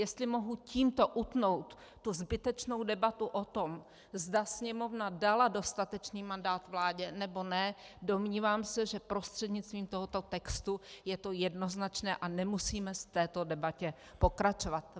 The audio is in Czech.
Jestli mohu tímto utnout tu zbytečnou debatu o tom, zda Sněmovna dala dostatečný mandát vládě, nebo ne, domnívám se, že prostřednictvím tohoto textu je to jednoznačné a nemusíme v této debatě pokračovat.